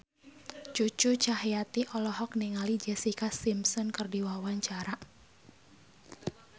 Cucu Cahyati olohok ningali Jessica Simpson keur diwawancara